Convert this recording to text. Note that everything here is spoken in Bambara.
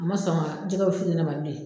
A ma sɔn ka jɛgɛwusu di ne ma bilen.